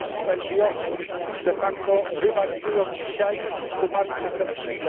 NGOs de facto rywalizują dzisiaj z grupami przestępczymi.